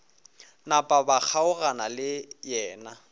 napa ba kgaogana le yena